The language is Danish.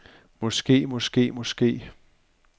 måske måske måske